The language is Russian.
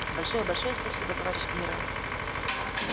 большое большое спасибо товарищ генерал